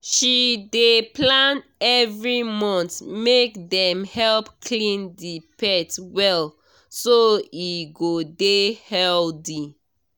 she dey plan every month make dem help clean the pet well so e go dey healthy